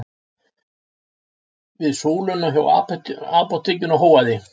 Við súluna hjá apótekinu hóaði